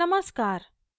नमस्कार !